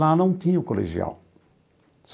Lá não tinha o colegial.